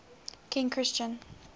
king christian